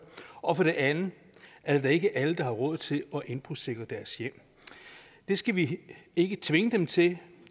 og for det andet er det da ikke alle der har råd til at indbrudssikre deres hjem det skal vi ikke tvinge dem til de